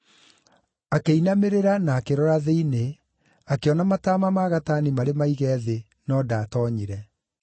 Akĩinamĩrĩra, na akĩrora thĩinĩ, akĩona mataama ma gatani marĩ maige thĩ, no ndaatoonyire.